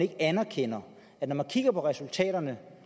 anerkender at når man kigger på resultaterne